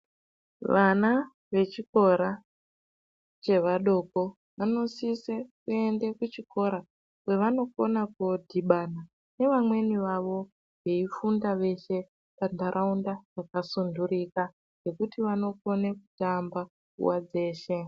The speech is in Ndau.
Vana vechikora chevadiko vanositsa kuenda kuchikora kwavanokona kuenda kodhibana nevamweni vavo vaifunda veshe pandaraunda yakasundurika zvekuti vanokone kutamba nguwa dzeshe.